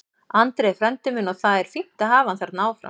Andri er frændi minn og það er fínt að hafa hann þarna áfram.